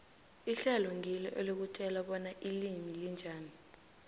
ihlelo ngilo elikutjela bona ilimi linjani